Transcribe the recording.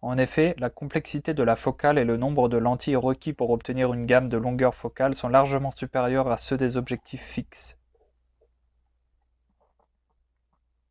en effet la complexité de la focale et le nombre de lentilles requis pour obtenir une gamme de longueurs focales sont largement supérieurs à ceux des objectifs fixes